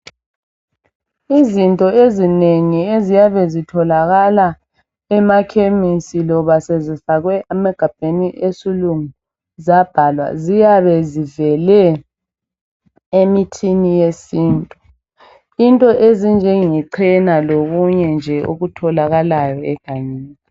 Izinto ezinengi eziyabe zitholakala emakhemisi loba sezifakwe emagabheni esilungu zabhalwa ziyabe zivele emithini yesintu, into ezinjenge chena lokunye nje okutholakayo egangeni.